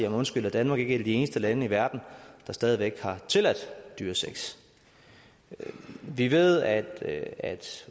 undskyld er danmark ikke et af de eneste lande i verden der stadig væk har tilladt dyresex vi ved at at